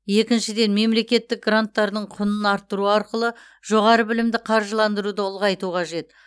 екіншіден мемлекеттік гранттардың құнын арттыру арқылы жоғары білімді қаржыландыруды ұлғайту қажет